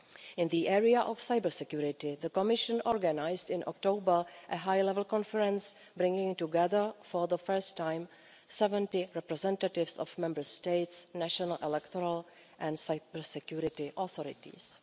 In the area of cybersecurity, the Commission organised in October a high-level conference bringing together, for the first time, 70 representatives of Member States, national electoral and cybersecurity authorities.